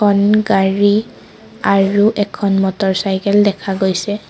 গাড়ী আৰু এখন মটৰচাইকেল দেখা গৈছে।